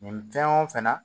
Nin fɛn o fɛn na